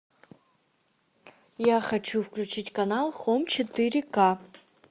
я хочу включить канал хом четыре ка